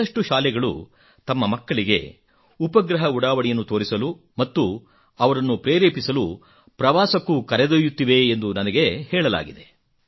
ಬಹಳಷ್ಟು ಶಾಲೆಗಳು ತಮ್ಮ ಮಕ್ಕಳಿಗೆ ಉಪಗ್ರಹ ಉಡಾವಣೆಯನ್ನು ತೋರಿಸಲು ಮತ್ತು ಅವರನ್ನು ಪ್ರೇರೆಪಿಸಲು ಪ್ರವಾಸಕ್ಕೂ ಕರೆದೊಯ್ಯುತ್ತಿವೆ ಎಂದು ನನಗೆ ಹೇಳಲಾಗಿದೆ